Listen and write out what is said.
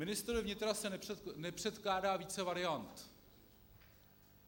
Ministrovi vnitra se nepředkládá více variant.